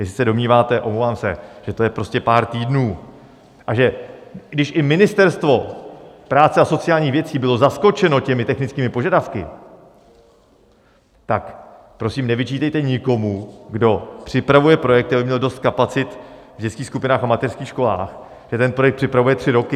Jestli se domníváte, omlouvám se, že to je prostě pár týdnů, a že když i Ministerstvo práce a sociálních věcí bylo zaskočeno těmi technickými požadavky, tak prosím nevyčítejte nikomu, kdo připravuje projekty, aby měl dost kapacit v dětských skupinách a mateřských školách, že ten projekt připravuje tři roky.